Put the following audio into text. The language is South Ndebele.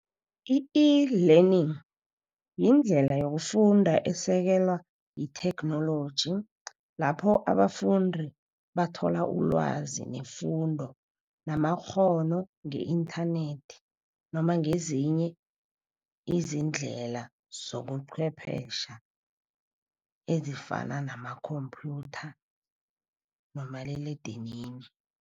I-eLearning yindlela yokufunda esekelwa yitheknoloji, lapho abafundi bathola ulwazi nefundo namakghono nge-inthanethi. Noma ngezinye izindlela zobucwephetjhe, ezifana nama-computer nomaliledinini.